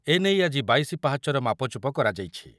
ଏ ନେଇ ଆଜି ବାଇଶି ପାହାଚର ମାପଚୁପ କରାଯାଇଛି।